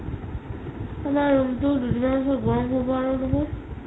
আমাৰ room টো দুদিনৰ পিছত গৰম হ'ব আৰু বহুত